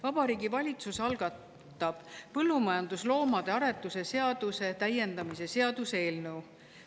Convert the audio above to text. Vabariigi Valitsus algatab põllumajandusloomade aretuse seaduse täiendamise seaduse eelnõu.